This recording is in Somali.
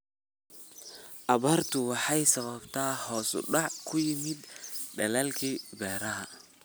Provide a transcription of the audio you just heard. Abaartu waxay sababtay hoos u dhac ku yimid dalaggii beeraha.